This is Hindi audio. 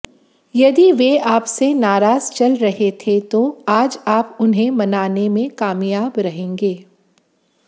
यदि वे आपसे नाराज चल रहे थे तो आज आप उन्हें मानाने में कामयाब रहेंगे